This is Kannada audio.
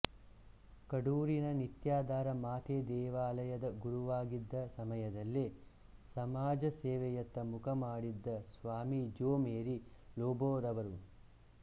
ಕಡೂರಿನ ನಿತ್ಯಾಧಾರ ಮಾತೆ ದೇವಾಲಯದ ಗುರುವಾಗಿದ್ದ ಸಮಯದಲ್ಲೇ ಸಮಾಜ ಸೇವೆಯತ್ತ ಮುಖ ಮಾಡಿದ್ದ ಸ್ವಾಮಿ ಜೋ ಮೇರಿ ಲೋಬೊರವರು